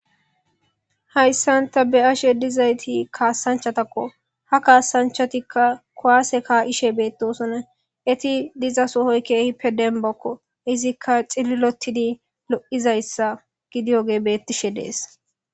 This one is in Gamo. Hayssanta be ashe dizayti kaassanchatakko ha kaasanchatikka kowase kaa'ishe bee'ttosona eti diza sohoykkehippe denbakko izikka xililotidi lo'izayssa gidiyoge beettishe dees.